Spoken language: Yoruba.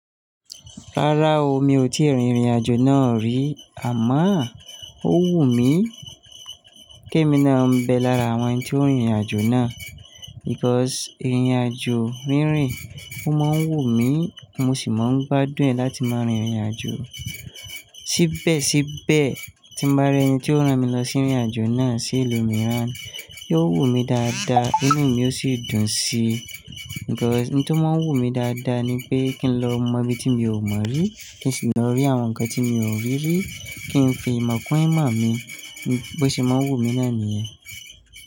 Rárá o, mi ò tíì rí ìrìn-àjò náà rí àmọ́ ó wù mí. Kí èmi náà máa bẹ lára àwọn tí ó rin ìrìn-àjò náà because ìrìn-àjò rínrìn ó máa ń wù mí, mo sì máa ń gbádùn láti máa rin ìrìn-àjò. Síbẹ̀síbẹ̀ tí bá rí ẹni tí ó rán mi lọ sí ìrìn-àjò náà sí ìlú miran, yóò wù mí dáadáa tí inú mi yóò sì dùn sí i because ohun tí ó máa ń wù mí dáadáa ni pé kí n lọ mọ ibi tí mi ò mọ rí, kí n sì lọ rí àwọn nǹkan tí mi ò rí rí, kí n fi ìmọ̀ kún ìmọ̀ mi. Bó ṣe máa wù mí náà niyẹn.